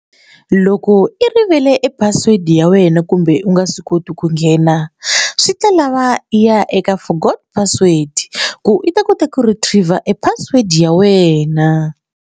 Loko i rivele password ya wena kumbe u nga swi koti ku nghena swi ta lava i ya eka forgot password ku i ta kota ku retriev-a e password ya wena.